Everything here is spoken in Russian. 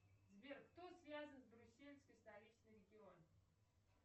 сбер кто связан с брюсельской столичный регион